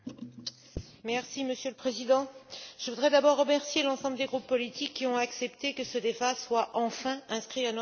Monsieur le Président, je voudrais d'abord remercier l'ensemble des groupes politiques, qui ont accepté que ce débat soit enfin inscrit à notre ordre du jour.